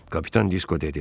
Kapitan Disko dedi: